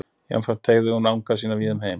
Jafnframt teygði hún anga sína víða um heim.